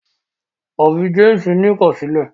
òbí James ni ikọsilẹ.